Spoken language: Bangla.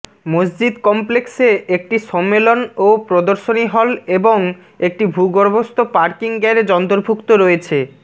মসজিদ কমপ্লেক্সে একটি সম্মেলন ও প্রদর্শনী হল এবং একটি ভূগর্ভস্থ পার্কিং গ্যারেজ অন্তর্ভুক্ত রয়েছে